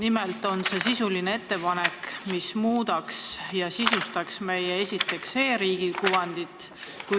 See on sisuline ettepanek, mille arvestamine parandaks ja sisustaks meie kui e-riigi kuvandit.